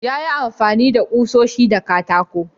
Ya yi amfani da kushoshi da katako.